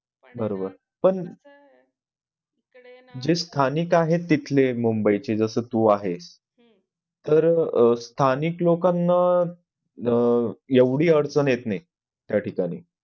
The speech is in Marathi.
बरोबर पण जिस ठाणे का है तिथले मुंबईची जस तू आहे हम्म तर अह स्थानिक लोकांना एवढी अडचण येत नाही त्या ठिकाणी